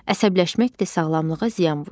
Əsəbləşmək də sağlamlığa ziyan vurur.